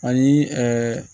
Ani